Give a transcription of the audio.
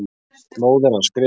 Móðir hans skrifaði.